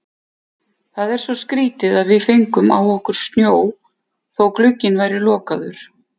Það er svo skrýtið að við fengum á okkur snjó þótt glugginn væri lokaður.